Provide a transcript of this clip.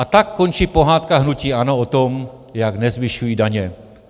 A tak končí pohádka hnutí ANO o tom, jak nezvyšují daně.